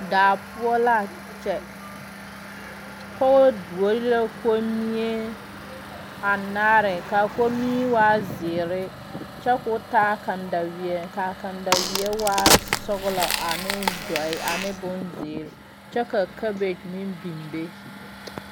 Daa poʊ la a kyɛ. Poge duore la kommie anaare. Ka a kommie waa ziire kyɛ k'o taa kandawie. Ka kandawie waa sɔglɔ ane duoe ane bon ziire. Kyɛ ka kabɛge meŋ biŋ be.